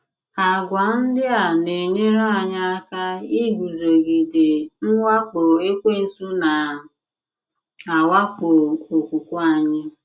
Àgwà ndị a na - enyere anyị aka iguzogide mwakpo Ekwensu na - awakpo okwukwe anyị.